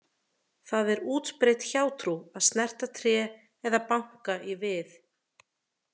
Það er útbreidd hjátrú að snerta tré eða banka í við.